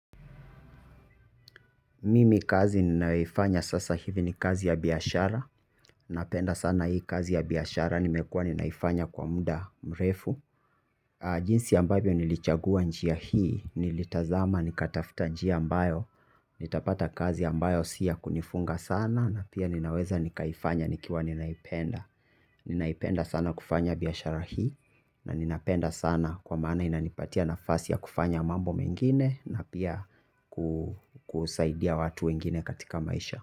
Mimi kazi ninayoifanya sasa hivi ni kazi ya biashara, napenda sana hii kazi ya biashara nimekuwa ninaifanya kwa muda mrefu. Jinsi ambavyo nilichagua njia hii, nilitazama nikatafta njia ambayo, nitapata kazi ambayo si ya kunifunga sana na pia ninaweza nikaifanya nikiwa ninaipenda. Ninaipenda sana kufanya biashara hii. Na ninapenda sana kwa maana inanipatia nafasi ya kufanya mambo mengine na pia kusaidia watu wengine katika maisha.